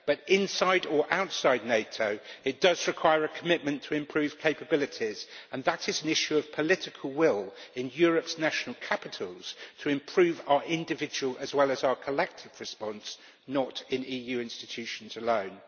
But inside or outside NATO, it does require a commitment to improve capabilities, and that is an issue of political will in Europe's national capitals to improve our individual as well as our collective response, not in EU institutions alone.